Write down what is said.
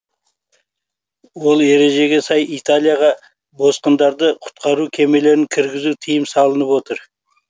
ол ережеге сай италияға босқындарды құтқару кемелерін кіргізу тыйым салынып отыр